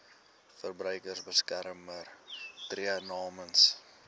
verbruikersbeskermer tree namens